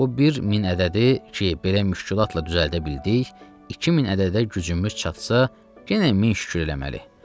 Bu bir min ədədi ki, belə müşkülatla düzəldə bildik, 2000 ədədə gücümüz çatsa, yenə min şükür eləməlidir.